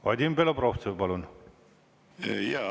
Vadim Belobrovtsev, palun!